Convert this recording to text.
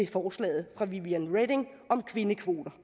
forslaget fra vivian reding om kvindekvoter